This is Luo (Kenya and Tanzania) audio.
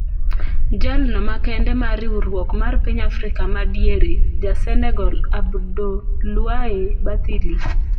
Jalno makende mar riwruok mar piny Afrika ma Madiere, ja Senegal Abdoulaye Bathily.